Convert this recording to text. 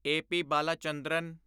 A. P. Balachandran